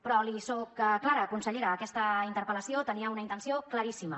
però li soc clara consellera aquesta interpel·lació tenia una intenció claríssima